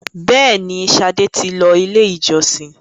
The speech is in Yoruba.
béèni, Sade tí ló ilé ìjósìn.